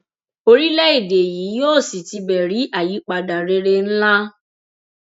orílẹèdè yìí yóò sì tibẹ rí àyípadà rere ńlá